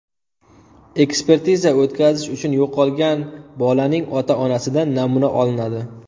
Ekspertiza o‘tkazish uchun yo‘qolgan bolaning ota-onasidan namuna olinadi.